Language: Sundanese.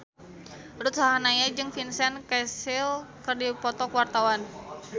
Ruth Sahanaya jeung Vincent Cassel keur dipoto ku wartawan